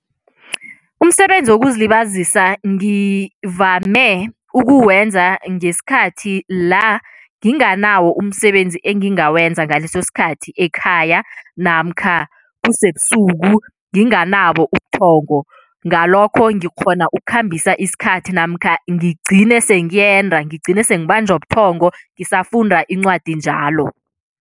Umsebenzi wokuzilibazisa ngivame ukuwenza ngesikhathi la nginganawo umsebenzi engingawenza ngaleso sikhathi ekhaya namkha kusebusuku nginganabo ubuthongo, ngalokho ngikghona ukukhambisa isikhathi namkha ngigcine sengiyenda, ngigcine sengibanjwa buthongo ngisafunda incwadi njalo.